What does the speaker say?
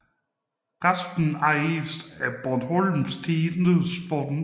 Resten ejes af Bornholms Tidendes Fond